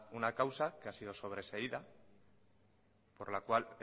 una causa que ha sido sobreseída por la cual